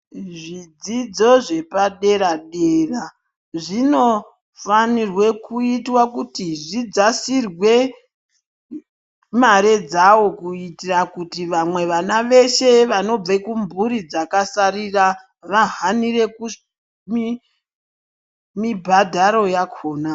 Zvidzidzo zvepadera dera zvinofanirwe kuitwa kuti zvidzasirwe mare dzawo kuitira kuti vamwe vana veshe vanobve kumburi dzakasarira vahanire mibhadharo yakhona.